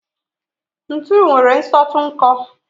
ntu nwere nsọtụ nkọ